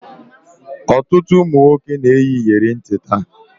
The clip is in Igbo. Ọtụtụ ụmụ nwoke na-eyi iyeri ntị taa